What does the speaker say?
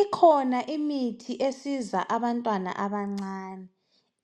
Ikhona imithi esiza abantwana abancane